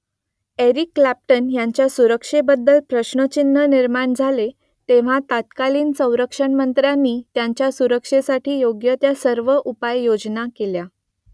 Eric Clapton यांच्या सुरक्षेबद्दल प्रश्नचिन्ह निर्माण झाले तेव्हा तत्कालीन संरक्षणमंत्र्यांनी त्यांच्या सुरक्षेसाठी योग्य त्या सर्व उपाययोजना केल्या